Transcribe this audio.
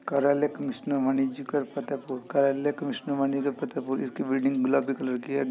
कार्यालय कमिशनर वाणिज्यकर फतेहपुर कार्यालय कमिशनर वाणिज्यकर फतेहपुर इसकी बिल्डिंग गुलाबी कलर की है।